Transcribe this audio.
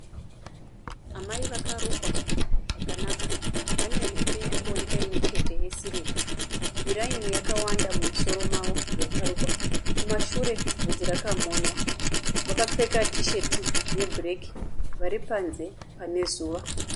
Amai vakarukwa zvakanaka. Vane mhete iri kuoneka imwechete yesirivha. Miraini yakawanda mumusoro mavo, yakarukwa. Kumashure vhudzi rakamonywa. Vakapfeka tisheti yebhureki. Vari panze pane zuva.